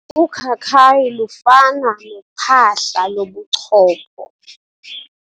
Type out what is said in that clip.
Ukhakhayi lufana nophahla lobuchopho.